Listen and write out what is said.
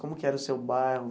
Como que era o seu bairro?